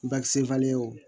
Bakisen o